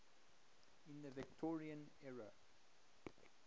in the victorian era